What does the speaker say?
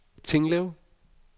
Tinglev